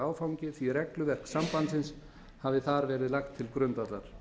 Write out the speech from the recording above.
áfangi því að regluverk sambandsins hafi þar verið lagt til grundvallar